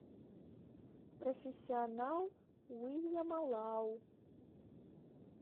профессионал уильяма лау